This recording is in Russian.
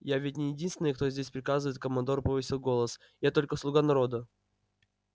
я ведь не единственный кто здесь приказывает командор повысил голос я только слуга народа